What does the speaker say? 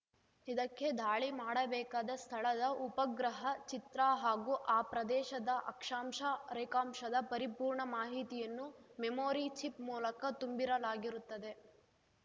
ಇದಕ್ಕೆ ದಾಳಿ ಮಾಡಬೇಕಾದ ಸ್ಥಳದ ಉಪಗ್ರಹ ಚಿತ್ರ ಹಾಗೂ ಆ ಪ್ರದೇಶದ ಅಕ್ಷಾಂಶ ರೇಖಾಂಶದ ಪರಿಪೂರ್ಣ ಮಾಹಿತಿಯನ್ನು ಮೆಮೋರಿ ಚಿಪ್‌ ಮೂಲಕ ತುಂಬಿರಲಾಗಿರುತ್ತದೆ